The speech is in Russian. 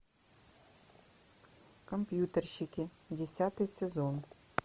компьютерщики десятый сезон